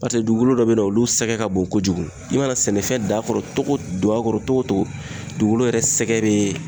Paseke dugukolo dɔ be yen nɔ olu sɛgɛn ka bon kojugu. I mana sɛnɛfɛn dan kɔnɔ togo ,do akɔrɔ togo togo dugukolo yɛrɛ sɛgɛn be